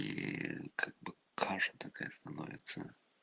и как бы каждая становится